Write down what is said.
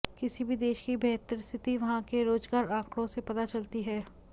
किसी भी देश की बेहतर स्थिति वहां के रोजगार आकंड़ों से पता चलती है